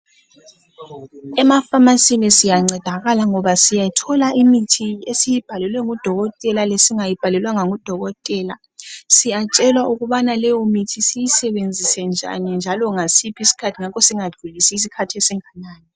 Emafamasi siyancedakala ngoba siyathola imithi esiyibhalelwe ngudokotela lesingayibhalelwanga ngudokotela. Siyatshelwa ukubana leyomithi siyisebenzise njani njalo ngasiphi isikhathi ngakho singadlulisi isikhathi esinganani.